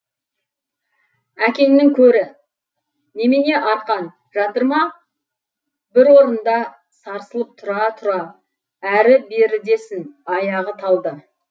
әкеңнің көрі немене арқан жатырма бір орында сарсылып тұра тұра әрі берідесін аяғы талды